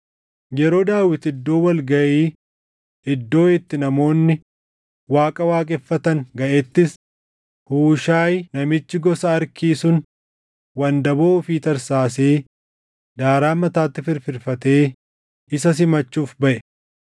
Yeroo Daawit iddoo wal gaʼii iddoo itti namoonni Waaqa waaqeffatan gaʼettis Huushaayi namichi gosa Arkii sun wandaboo ofii tarsaasee daaraa mataatti firfirfatee isa simachuuf baʼe.